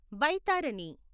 బైతారని